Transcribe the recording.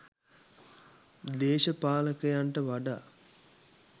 දේශපාලකයන්ට වඩා